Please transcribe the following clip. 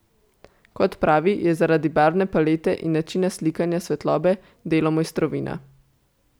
Kot pravi, je zaradi barvne palete in načina slikanja svetlobe delo mojstrovina.